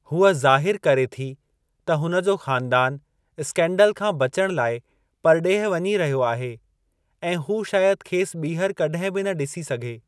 हूअ ज़ाहिरु करे थी त हुन जो ख़ानदानु स्कैन्डल खां बचणु लाइ परॾेह वञी रहियो आहे ऐं हू शायदि खेसि ॿीहर कॾहिं बि न ॾिसी सघे।